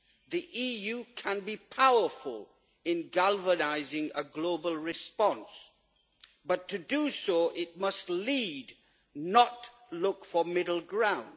The EU can be powerful in galvanising a global response, but to do so it must lead, not look for middle ground.